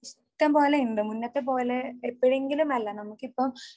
ഇഷ്ടംപോലെയുണ്ട് മുന്നത്തെ പോലെ എപ്പോഴെങ്കിലും അല്ല നമുക്കിപ്പോ